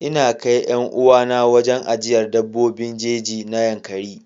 Ina kai 'yar uwana wurin ajiyar dabbobin jeji na yankaree.